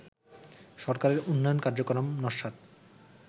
সরকারের উন্নয়ন কার্যক্রম নস্যাৎ